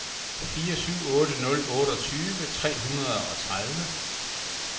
fire syv otte nul otteogtyve tre hundrede og tredive